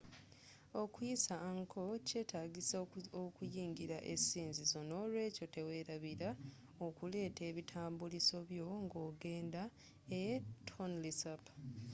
okuyisa angkor kyetagisa okuyingira esinzizo nolweekyo teweelabila okuleeta ebitambuliso byo nga ogenda e tonle sap